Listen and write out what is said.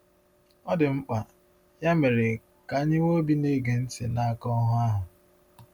Ọ dị mkpa, ya mere, ka anyị nwee obi na-ege ntị n’aka “ohu ahụ.”